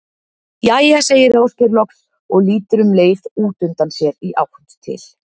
Jæja segir Ásgeir loks og lítur um leið út undan sér í átt til